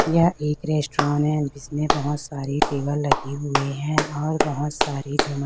यह एक रेस्टोरन है जिसमें बहोत सारे टेबल लगी हुए हैं और बहोत सारे झूमर--